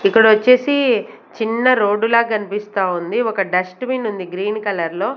ఇక్కడ వచ్చేసి చిన్న రోడ్డు లాగా కనిపిస్తా ఉంది ఒక డస్ట్ బిన్ ఉంది గ్రీన్ కలర్ లో.